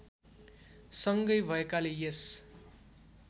सँगै भएकाले यस